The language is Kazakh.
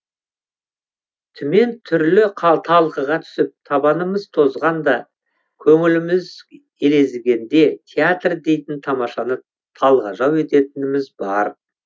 түмен түрлі талқыға түсіп табанымыз тозғанда көңіліміз елегізгенде театр дейтін тамашаны талғажау ететініміз бар